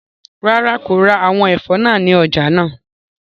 Rara, ko ra awọn ẹfọ naa ni ọja naa